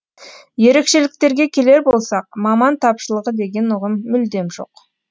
ерекшеліктерге келер болсақ маман тапшылығы деген ұғым мүлдем жоқ